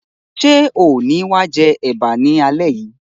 Ṣe o ni wa jẹ ẹ̀bá ni alẹ yìí?